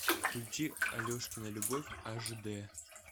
включи алешкина любовь аш д